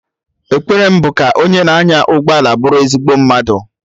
Ekpere mụ bụ ka onye na anya ụgbọala bụrụ ezigbo mmadụ